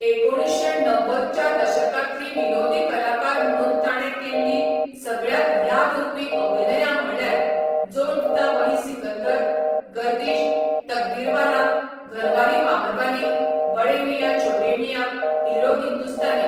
एकुणीशें णव्वद च्या दशकातली विनोदी कलाकार म्हणून ताणें केल्लीं सगळ्यांत याद उरपी अभिनयां म्हळ्यार जो जीता वोही सिकंदर, गर्दीश, तकदीरवाला, घरवाली बहरवाली, बड़े मियां छोटे मियां, हीरो हिंदुस्तानी.